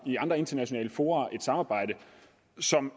i andre internationale fora et samarbejde som